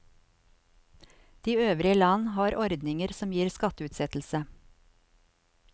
De øvrige land har ordninger som gir skatteutsettelse.